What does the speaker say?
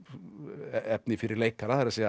efni fyrir leikara það er